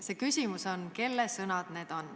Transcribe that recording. See küsimus on, kelle sõnad need on.